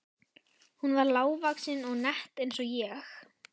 Hún var lágvaxin og nett eins og ég.